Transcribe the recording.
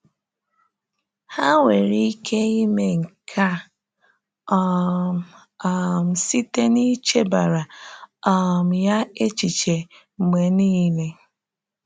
Ha nwere ike ime nke a um um site n’ichebara um ya echiche mgbe niile.